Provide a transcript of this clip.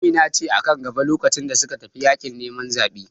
Amina ce a kan gaba lokacin da suka tafi yaƙin neman zaɓe